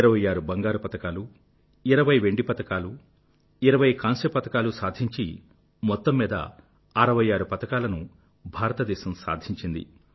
26 బంగారు పతకాలు 20 వెండి పతకాలు 20 కాంస్య పతకాలు సాధించి మొత్తమ్మీద దాదాపు 66 పతకాలను భారతదేశం సాధించింది